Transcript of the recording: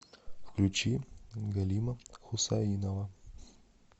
включи галима хусаинова